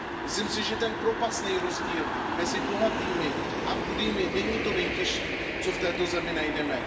Myslím si, že ten propastný rozdíl mezi bohatými a chudými není to nejtěžší, co v této zemi najdeme.